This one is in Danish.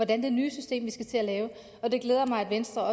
det nye system vi skal til at lave og det glæder mig at venstre og